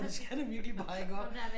Og det skal det virkelig bare iggå